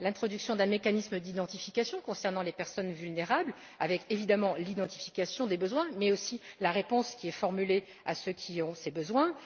l'introduction d'un mécanisme d'identification concernant les personnes vulnérables, avec évidemment l'identification des besoins, mais aussi la réponse qui est formulée à l'intention de ceux qui éprouvent ces besoins